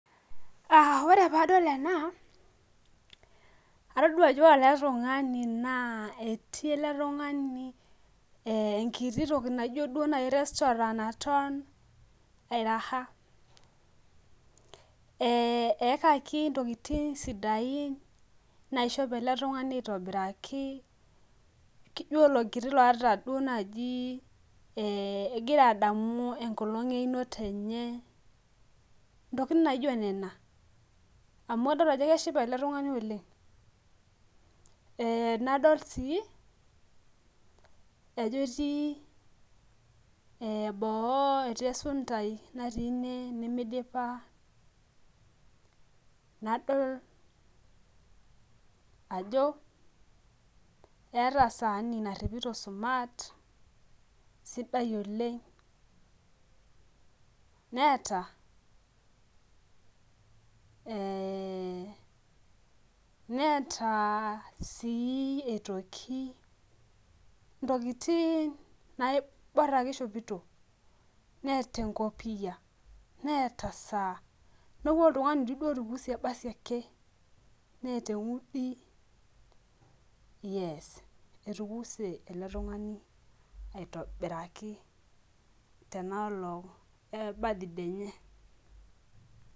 Ore padol ena adolita ajo eletungani na etii enkii toki anijonrestorant aton airaha eyakaki ntokitin sidain naishop eletungani aitobiraki ijo egira adamu enkolong einoto enye ntokitin naijo nona nadol si ajo etii boo etii esundai nimidipa nadol ajo eeta esaani naripito sidai oleng neeta neeta su aitoki ntokitin naibor ake ishopito neeta enkopiya neeta esaa neaku oltungani otukuse basi ake neeta engudi etukuse eletungani aitobiraki tenoolong e birthday enye.